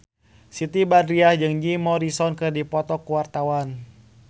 Siti Badriah jeung Jim Morrison keur dipoto ku wartawan